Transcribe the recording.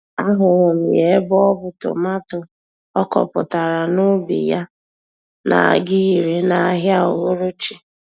A hụrụ m ya ebe o bu tomato ọ kọpụtara n'ubi yá, n'aga ire, n'ahịa uhuruchi.